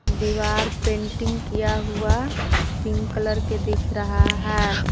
दीवार पेंटिंग किया हुआ पिंक कलर के दिख रहा है।